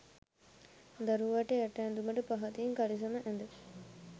දරුවාට යට ඇදුමට පහතින් කළිසම ඇද